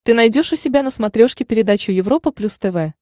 ты найдешь у себя на смотрешке передачу европа плюс тв